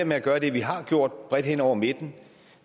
med at gøre det vi har gjort bredt hen over midten